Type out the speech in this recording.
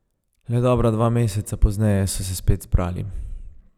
Le dobra dva meseca pozneje so se spet zbrali.